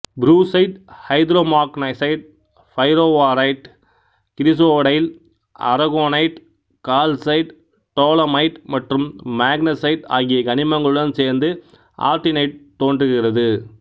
brucite hydromagnesite pyroaurite chrysotile aragonite calcite dolomite மற்றும் magnesite ஆகிய கனிமங்களுடன் சேர்ந்து ஆர்டினைட்டு தோன்றுகிறது